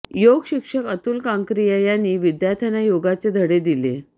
योग शिक्षक अतुल कांकरिया यांनी विद्यार्थ्यांना योगाचे धडे दिले